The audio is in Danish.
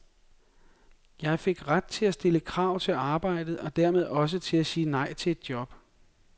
Jeg fik ret til at stille krav til arbejdet, og dermed også til at sige nej til et job.